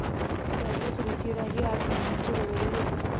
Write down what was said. त्यातच रुचिरा ही आठ महिन्यांची गरोदर होती.